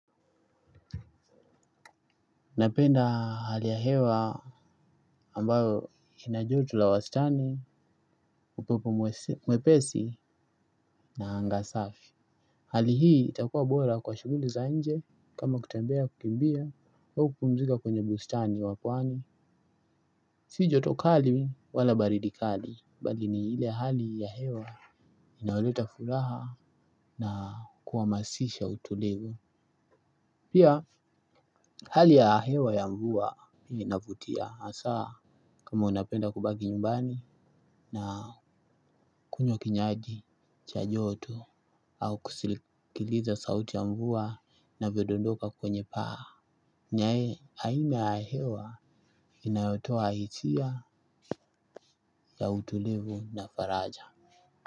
Napenda hali ya hewa ambayo ina joto la wastani, upepo mwepesi na anga safi. Hali hii itakua bora kwa shughuli za nje kama kutembea kukimbia au kupumzika kwenye bustani wa pwani. Si joto kali wala baridi kali, bali ni ile hali ya hewa inaoleta furaha na kuhamasisha utulivu. Pia hali ya hewa ya mvua inavutia hasaa kama unapenda kubaki nyumbani na kunywa kinywaji cha joto au kusilikiliza sauti ya mvua inavyo dondoka kwenye paa. Nae aina ya hewa inayotoa hisia ya utulivu na faraja.